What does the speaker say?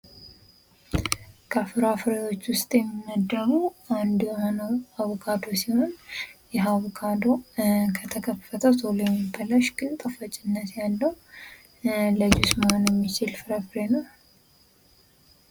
ከፍራፍሬዎች ዉስጥ የሚመደቡ አንዱ የሆነዉ አቮካዶ ሲሆን ይህ አቮካዶ ከተከፈተ ቶሎ የሚበላሽ ግን ጣፋጭነት ያለዉ ለጁስ መሆን የሚችል የየፍራፍሬ አይነት ነዉ።